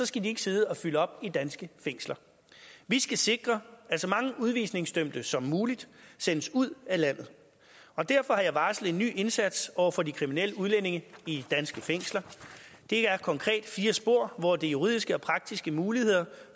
skal de ikke sidde og fylde op i danske fængsler vi skal sikre at så mange udvisningsdømte som muligt sendes ud af landet og derfor har jeg varslet en ny indsats over for de kriminelle udlændinge i danske fængsler det er konkret fire spor hvor de juridiske og praktiske muligheder